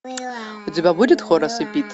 у тебя будет хорас и пит